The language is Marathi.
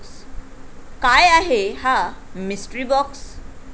काय आहे हा 'मिस्ट्री बाॅक्स'?